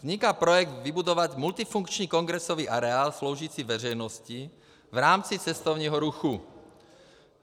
Vzniká projekt vybudovat multifunkční kongresový areál sloužící veřejnosti v rámci cestovního ruchu.